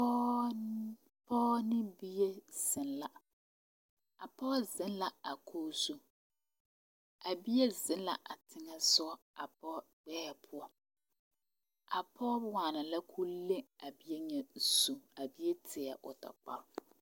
Pɔɔ ne bie zeŋ la a pɔɔ zeŋ la kogɔzu a bie zeŋ la a teŋɛsugɔ a pɔɔ gbɛɛ a poɔ a pɔɔ waana la koo le a bie nyɛ zu a bie tieɛɛ o tɔ.